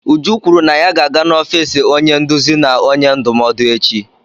Uju kwuru na ya ga-aga n'ọfiisi onye nduzi na onye ndụmọdụ echi.